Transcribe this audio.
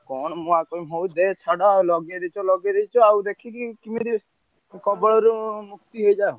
କଣ ମୁଁ ଆଉ କହିବି ହଉ ଦେ ଛାଡ ଲଗେଇଦେଇଛ ଲଗେଇଦେଇଛ ଆଉ ଦେଖିକି କିମିତି କବଳରୁ ମୁକ୍ତି ହେଇଯାଆ।